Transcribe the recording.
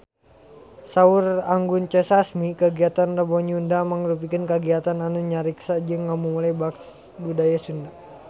Saur Anggun C. Sasmi kagiatan Rebo Nyunda mangrupikeun kagiatan anu ngariksa jeung ngamumule budaya Sunda